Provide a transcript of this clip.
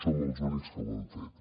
som els únics que ho hem fet